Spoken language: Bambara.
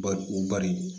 Bari u bari